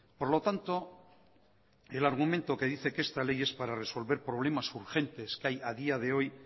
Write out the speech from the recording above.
por lo tanto el argumento que dice que esta ley es para resolver problemas urgentes que hay a día de hoy